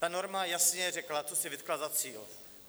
Ta norma jasně řekla, co si vytkla za cíl.